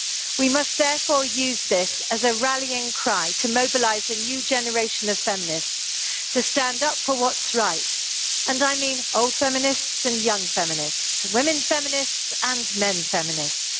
We must therefore use this as a rallying cry to mobilise a new generation of feminists to stand up for what is right, and I mean old feminists and young feminists, women feminists and men feminists.